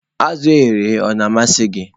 Azụ̀ e ghere eghe Ọ na-amasị gị?